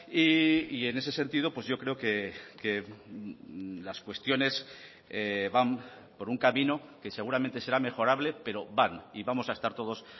y en ese sentido yo creo que las cuestiones van por un camino que seguramente será mejorable pero van y vamos a estar todos